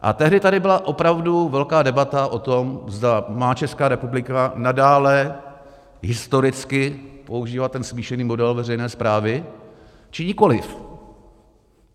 A tehdy tady byla opravdu velká debata o tom, zda má Česká republika nadále historicky používat ten smíšený model veřejné správy, či nikoli.